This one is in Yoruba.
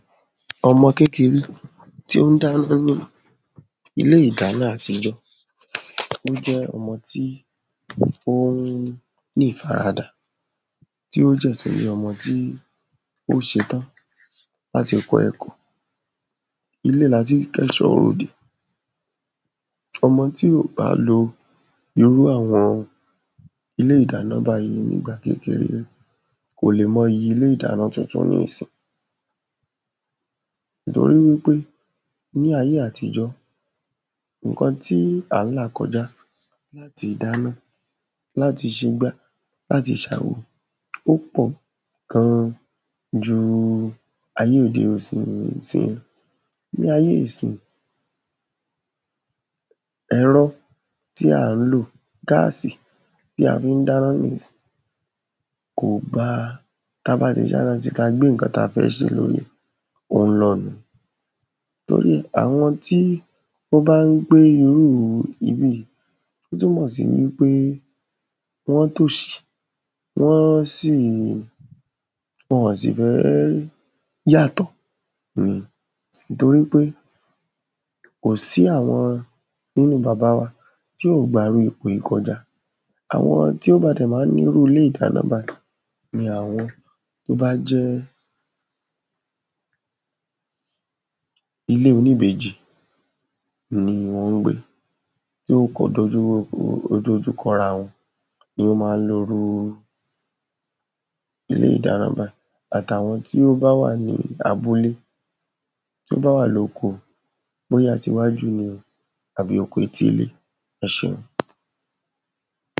ọmọ kékeré tí ó ń dáná ní ilé-ìdáná àtijọ́, tí ó jẹ́ ọmọ tí ó ń ní ìfaradà, tí ó dẹ̀ tún jẹ́ ọmọ tí ó ṣetán láti kọ́ ẹ̀kọ́. ilé latín kẹ́ṣọ́ròde, ọmọ tí ò bá lo irú àwọn ilé-ìdáná báyí ní ìgba kékeré ẹ̀, kò lè mọyì ilé-ìdáná tuntun ní ìsin. nítorí wípé ní ayé àtijọ́, ǹkan tí à á là kọjá láti dáná, láti ṣegbá, láti ṣàwo, ó pọ̀ gan ju àyé òde, ìsín lọ. ní ayé ìsin, ẹ̀rọ tí à á lò, gásì tí a fín dáná ní ìsin, kò gba, tabá ti ṣáná si, ta gbé ǹkan ta fẹ́ sè lóri, ó ń lọ̀ nù-un, torí àwọn tí ó bán gbe irú ibíì í, ó túnmọ̀ sí wípé wọ́n tòṣì, wọ́n sì, wọn ọ̀ sì fẹ́ yàtọ̀ ni. torípé kòsí àwọn nínu b̀aba wa tí ò gba irú ipò yí kọjá. àwọn tí ó padà ma ń ní irú ilé-ìdáná báyí ní àwọn tó bá jẹ́ ilé oníbejì. ni wọn ńgbé, tí wọ́n kọ dojú, ó dojú kọrawọn ní ó ma ń lo irúu ilé-ìdáná báyì, àtàwọn tí ó bá wà ní abúlé, tóbá wà lóko, bóyá ti wájú ni àbí oko etí ilé. ẹṣé.